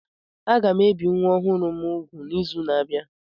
Aga m ebi nwa ọhụrụ m úgwù n'izu na-abịa